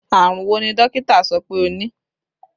Àrùn wo ni dókítà sọ pé o ní?